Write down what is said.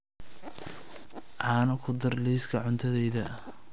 caano ku dar liiska cuntadayda